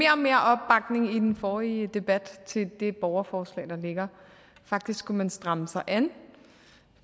i den forrige debat til det borgerforslag der ligger faktisk skulle man stramme sig an